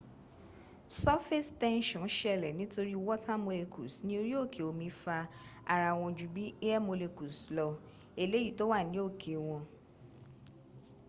surface tension ṣẹlẹ̀ nítorí water molecules ní orí òkè omi fa ara wọn ju bí air molecules lọ eléyìí tó wà ní òkè wọn